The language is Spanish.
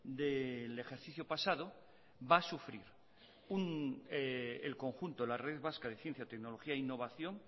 del ejercicio pasado va a sufrir el conjunto de la red vasca de ciencia tecnología e innovación